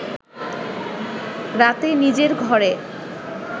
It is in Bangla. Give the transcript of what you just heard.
রাতে নিজের ঘরে